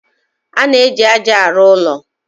A na-eji ájá arụ ụlọ.